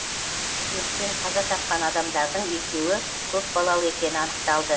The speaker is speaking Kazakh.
өрттен қаза тапқан адамдардың екеуі көпбалалы екені анықталды